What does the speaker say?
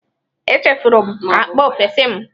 Echefuru m akpa m n'ọfịsi m.